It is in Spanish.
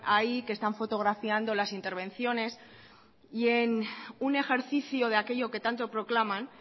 ahí que están fotografiando las intervenciones y en un ejercicio de aquello que tanto proclaman